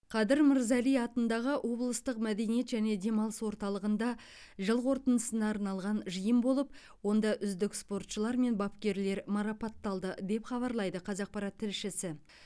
қадыр мырза әли атындағы облыстық мәдениет және демалыс орталығында жыл қорытындысына арналған жиын болып онда үздік спортшылар мен бапкерлер марапатталды деп хабарлайды қазақпарат тілшісі